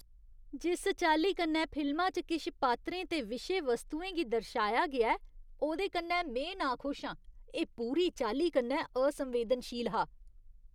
जिस चाल्ली कन्नै फिल्मा च किश पात्तरें ते विशे वस्तुएं गी दर्शाया गेआ ऐ, ओह्दे कन्नै में नाखुश आं। एह् पूरी चाल्ली कन्नै असंवेदनशील हा।